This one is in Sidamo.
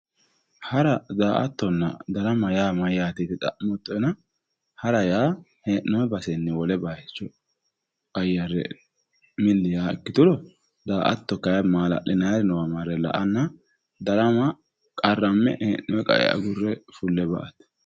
hara daa'atonna darama yaa mayyaate yite xa'mootoena hara yaa mitte gobbanni wole baycho qayyare milli yaa ikkituro daa'ato kayi maala'linayire marre la'anna darama qarramme hee'ne hee'noyi qae agurre ba'ate